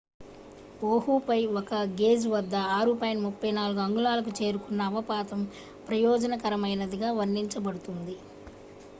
"ఓహుపై ఒక గేజ్ వద్ద 6.34 అంగుళాలకు చేరుకున్న అవపాతం "ప్రయోజనకరమైనది""గా వర్ణించబడుతుంది.